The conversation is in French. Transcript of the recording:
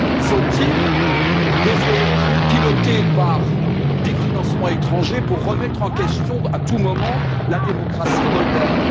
Faut il des ONG pilotées par des financements étrangers pour remettre en question, à tout moment, la démocratie moldave?